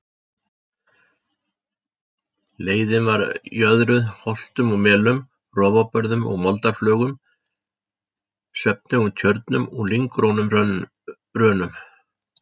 Leiðin var jöðruð holtum og melum, rofabörðum og moldarflögum, svefnugum tjörnum og lynggrónum rönum.